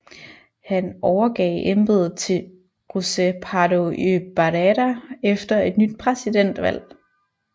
Han overgav embedet til José Pardo y Barreda efter et nyt præsidentvalg